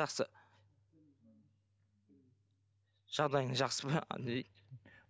жақсы жағдайың жақсы ма дейді